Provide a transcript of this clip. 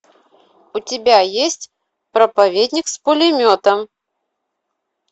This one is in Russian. у тебя есть проповедник с пулеметом